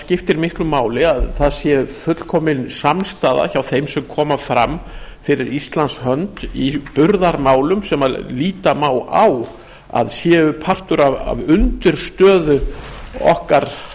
skiptir miklu máli að það sé fullkomin samstaða hjá þeim sem koma fram fyrir íslands hönd í burðarmálum sem líta má á að séu partur af undirstöðu okkar